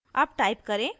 अब type करें: